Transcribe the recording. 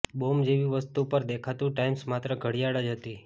bomb જેવી વસ્તુ પર દેખાતુ ટાઈમસ માત્ર ઘડીયાળ જ હતી